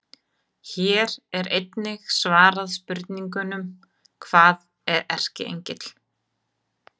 Hér er einnig svarað spurningunum: Hvað er erkiengill?